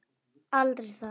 Aldrei það.